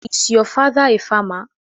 Is your father a farmer?